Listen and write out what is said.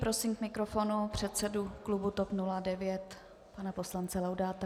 Prosím k mikrofonu předsedu klubu TOP 09 pana poslance Laudáta.